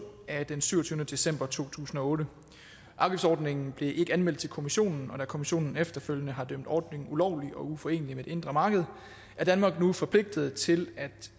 af syvogtyvende december to tusind og otte afgiftsordningen blev ikke anmeldt til europa kommissionen og da kommissionen efterfølgende har dømt ordningen ulovlig og uforenelig med det indre marked er danmark forpligtet til at